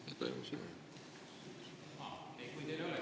Kui teil ei ole küsimust …